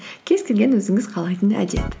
кез келген өзіңіз қалайтын әдет